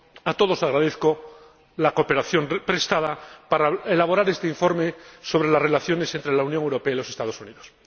A todos agradezco la cooperación prestada para elaborar este informe sobre las relaciones entre la Unión Europea y los Estados Unidos.